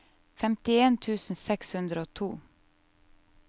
femtien tusen seks hundre og to